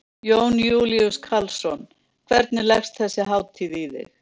Jón Júlíus Karlsson: Hvernig leggst þessi hátíð í þig?